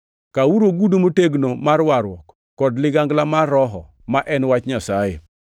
Kawuru ogudu motegno mar warruok kod ligangla mar Roho ma en wach Nyasaye.